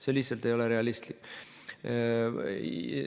See lihtsalt ei ole realistlik.